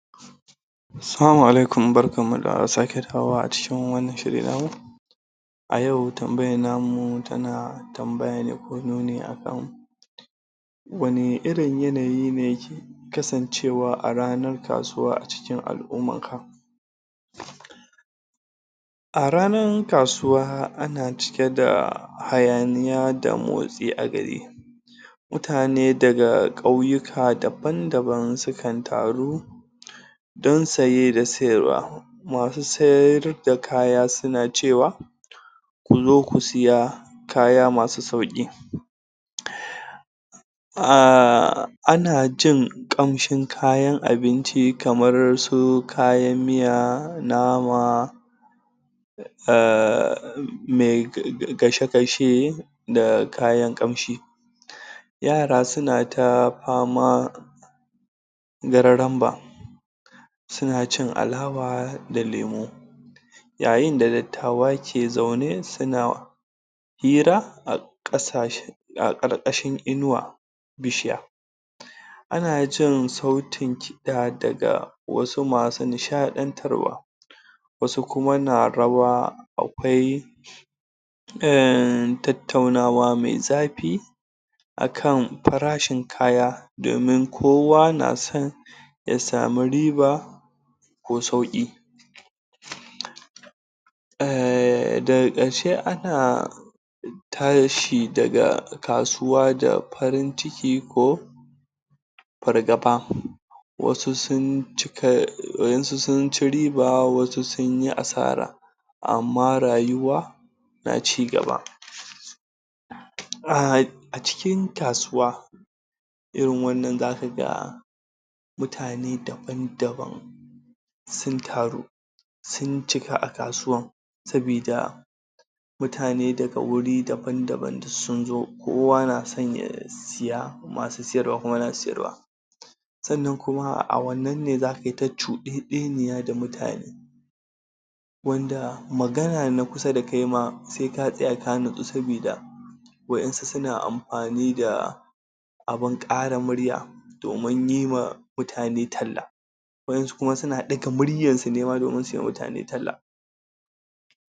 Assalamu alaikum, barkanmu da sake dawowa a cikin wannan shiri namu a yau tambayar namu tana tana tambaya ne ko nuni akan wani irin yanayi ne kasancewa ranar kasuwa a cikin al'ummarka A ranar kasuwa ana cike da hayaniya da motsi a gari mutane daga kauyika daban daban sukan taru don saye da sayarwa masu sayar da kaya suna cewa kuzo ku siya kaya masu sauki ahh, ana jin kamshin kayan abinci kamar su kayan miya, nama me gashe-gashe da kayan kamshi yara suna ta famar gararan ba suna cin alawa da lemo yayinda dattawa ke zaune hira a kasashe a ƙarƙashin inuwan bishiya a na jin sautin kiɗa daga wasu masu nishaɗantarwa wasu kuma na rawa akwai tattaunawa mai zafi a kan farashin kaya domin kowa na son ya sami riba ko sauƙi eehm daga ƙarshe a na tashi daga kasuwa da farin ciki ko fargaba wasu sun cika wasu sun ci riba wasu sun yi asara amma rayuwa na ci gaba, ahh a cikin kasuwa irin wannan za ka ga mutane daban-daban sun taru sun cika a kasuwan saboda mutane daga wuri daban-daban suk sun zo kowa na son ya siya masu sayarwa kuma na sayarwa sannan kuma a wannan ne za kai ta cuɗeɗeniya da mutane wanda wanda magana da na kusa da kai ma sai ka tsaya ka natsu saboda waɗansu na amfani da abun ƙara murya domin yi wa mutane talla waɗansu kuma na ɗaga muryar su ne ma domin yiwa mutane talla